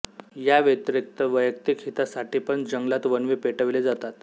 या व्यतिरिक्त वैयक्तिक हितासाठीपण जंगलात वणवे पेटविले जातात